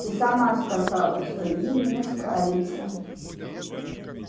ты сама сказала что им не справиться